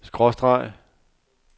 skråstreg